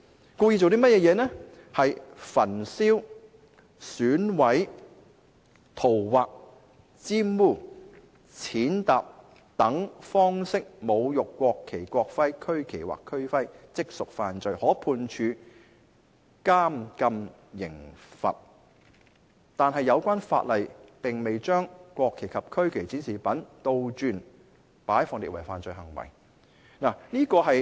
根據有關條文，是焚燒、毀損、塗劃、玷污、踐踏等方式侮辱國旗、國徽、區旗或區徽，即屬違法，可判處監禁刑罰，但有關法例並未將國旗及區旗展示品倒轉擺放列為犯罪行為。